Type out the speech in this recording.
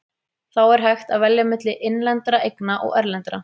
Þá er hægt að velja milli innlendra eigna og erlendra.